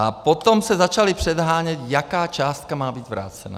A potom se začali předhánět, jaká částka má být vrácena.